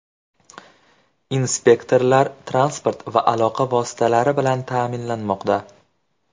Inspektorlar transport va aloqa vositalari bilan ta’minlanmoqda.